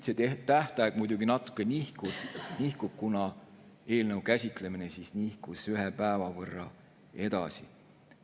See tähtaeg muidugi natuke nihkub, kuna eelnõu käsitlemine on nihkunud ühe päeva võrra edasi.